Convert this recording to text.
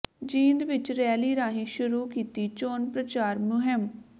ਜੀਂਦ ਵਿਚ ਰੈਲੀ ਰਾਹੀਂ ਸ਼ੁਰੂ ਕੀਤੀ ਚੋਣ ਪ੍ਰਚਾਰ ਮੁਹਿੰਮ